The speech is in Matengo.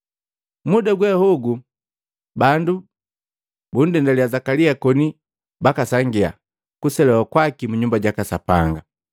Muda gwe hogu bandu bundendaliya Zakalia koni bakasangia kuselewa kwaki mu Nyumba jaka Sapanga.